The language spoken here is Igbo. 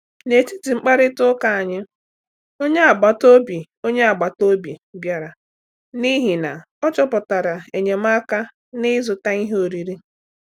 N’etiti mkparịta ụka anyị, onye agbataobi onye agbataobi bịara n’ihi na ọ chọpụtara enyemaka n’ịzụta ihe oriri.